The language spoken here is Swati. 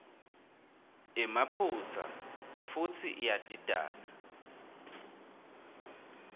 emaphutsa futsi iyadidana